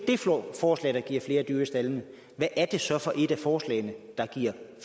forslag der giver flere dyr i staldene hvad er det så for et af forslagene der giver